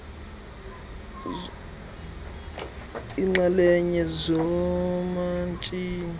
nokudibanisa iinxalenye zoomatshini